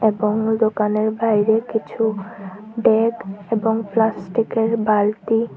এবং দোকানের বাইরে কিছু ডেক এবং প্লাস্টিকের -এর বালতি --